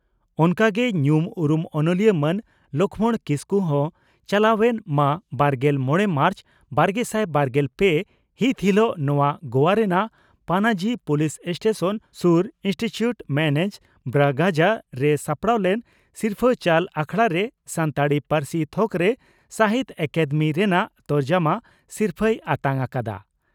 ᱚᱱᱠᱟ ᱜᱮ ᱧᱩᱢ ᱩᱨᱩᱢ ᱚᱱᱚᱞᱤᱭᱟᱹ ᱢᱟᱱ ᱞᱚᱠᱷᱢᱚᱬ ᱠᱤᱥᱠᱩ ᱦᱚᱸ ᱪᱟᱞᱟᱣᱮᱱ ᱢᱟᱹᱵᱟᱨᱜᱮᱞ ᱢᱚᱲᱮ ᱢᱟᱨᱪ ᱵᱟᱨᱜᱮᱥᱟᱭ ᱵᱟᱨᱜᱮᱞ ᱯᱮ ᱦᱤᱛ ᱦᱤᱞᱚᱜ ᱜᱳᱣᱟ ᱨᱮᱱᱟᱱᱜ ᱯᱟᱱᱟᱡᱤ ᱯᱳᱞᱤᱥ ᱥᱴᱮᱥᱚᱱ ᱥᱩᱨ ᱤᱱᱥᱴᱩᱪᱩᱴ ᱢᱮᱱᱡᱮᱥ ᱵᱨᱟᱜᱟᱡᱟ ᱨᱮ ᱥᱟᱯᱲᱟᱣ ᱞᱮᱱ ᱥᱤᱨᱯᱷᱟᱹ ᱪᱟᱞ ᱟᱠᱷᱲᱟᱨᱮ ᱥᱟᱱᱛᱟᱲᱤ ᱯᱟᱹᱨᱥᱤ ᱛᱷᱚᱠᱨᱮ ᱥᱟᱦᱤᱛᱭᱚ ᱟᱠᱟᱫᱮᱢᱤ ᱨᱮᱱᱟᱜ ᱛᱚᱨᱡᱚᱢᱟ ᱥᱤᱨᱯᱷᱟᱹᱭ ᱟᱛᱟᱝ ᱟᱠᱟᱫᱼᱟ ᱾